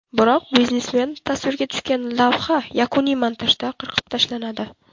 Biroq biznesmen tasvirga tushgan lavha yakuniy montajda qirqib tashlanadi.